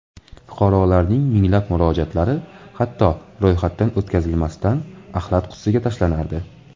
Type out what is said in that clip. Fuqarolarning minglab murojaatlari hatto ro‘yxatdan o‘tkazilmasdan axlat qutisiga tashlanardi.